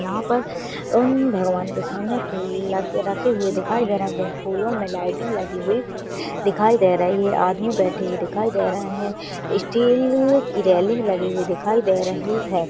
यहाँ पर उन भगवान के सामने फूल लग रखे हुए दिखाई दे रहे हैं जिन फूलों मे लाइटिंग लगी हुई दिखाई दे रही है आदमी बैठे हुए दिखाई दे रहे हैं स्टील की रेलिंग लगी हुई दिखाई दे रही है।